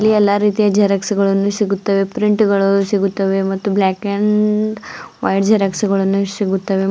ಇಲ್ಲಿ ಎಲ್ಲಾ ಜೆರಾಕ್ಸ್ ಗಳನ್ನು ರೀತಿಯ ಸಿಗುತ್ತವೆ ಪ್ರಿಂಟ್ ಗಳು ಸಿಗುತ್ತವೆ ಮತ್ತು ಬ್ಲಾಕ್ ಅಂಡ್ ವೈಟ್ ಜೆರಾಕ್ಸ್ ಗಳನ್ನು ಸಿಗುತ್ತವೆ.